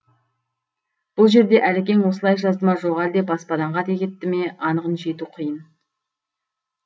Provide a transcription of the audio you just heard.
бұл жерде әлекең осылай жазды ма жоқ әлде баспадан қате кетті ме анығына жету қиын